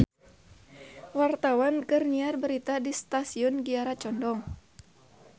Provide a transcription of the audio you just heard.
Wartawan keur nyiar berita di Stasiun Kiara Condong